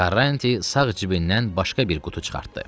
Karranti sağ cibindən başqa bir qutu çıxartdı.